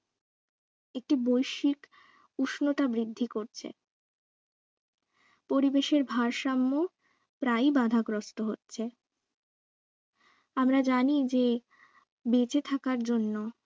একটি বৈশিক উষ্ণতা বৃদ্ধি করছে পরিবেশের ভারসাম্য প্রায় বাঁধাগ্রস্ত হচ্ছে আমরা জানি যে বেঁচে থাকার জন্য